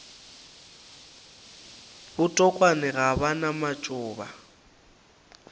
botokwane ga ba na matšoba